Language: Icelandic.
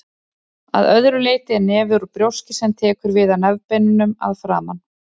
Að öðru leyti er nefið úr brjóski sem tekur við af nefbeinunum að framan.